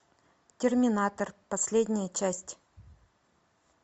терминатор последняя часть